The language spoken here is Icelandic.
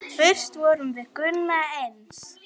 Fyrst vorum við Gunna eins.